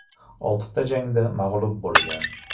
Oltita jangda mag‘lub bo‘lgan.